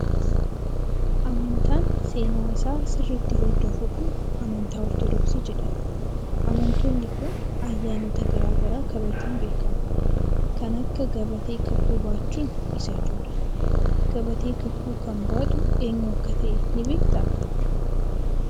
Amantaan seenaa isaa sirriitti hordofu kun amantaa ortoodoksii jedhama. Amantoonni kun ayyaanota garaa garaa kabajuun beekamu. Kan akka gabatee kakuu baachuun isa ijoodha. Gabatee kakuu kan baatu eenyu akka ta'e ni beektaa?